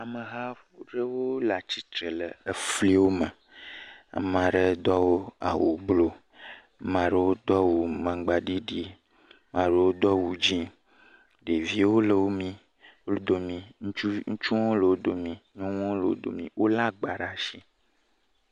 Ameha aɖewo le atsitre le fli me, ame aɖewo do awu blu, ame aɖewo do awu magbaɖiɖi, maɖewo di dzɛ̃. Ɖeviwo le wo domii, ŋutsuwo le wo domii, nyɔnuwo hã le wo domii, wole agba ɖe asi.